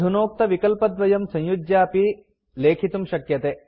अधुनोक्तविकल्पद्वयं संयुज्यापि लेखितुं शक्यते